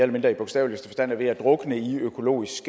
mindre bogstaveligste forstand er ved at drukne i økologisk